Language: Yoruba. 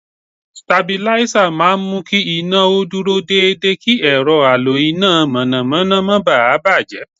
Sitabiláísà máa mú kí iná o dúró dédé kí ẹ̀rọ alo iná mọ̀nàmọ́ná má bà á bàjẹ́.